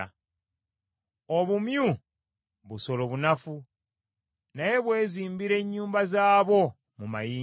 obumyu busolo bunafu naye bwezimbira ennyumba zaabwo mu mayinja;